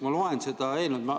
Ma olen lugenud seda eelnõu.